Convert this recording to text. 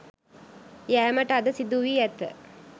යෑමට අද සිදු වී ඇත.